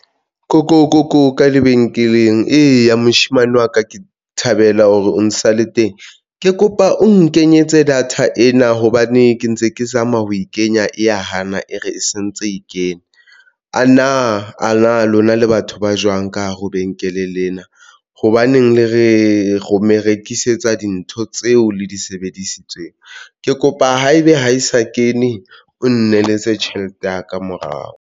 Koko koko ka lebenkeleng. Eya moshemane wa ka ke thabela hore o sa le teng, ke kopa o nkenyetse data ena hobane ke ntse ke zama ho e kenya e hana e re e sentse, e kene, a na a na lona le batho ba jwang ka hare ho lebenkele lena. Hobaneng le re rome rekisetsa dintho tseo le di sebedisitsweng ke kopa haebe ha e sa kene o nneletse tjhelete ya ka morao.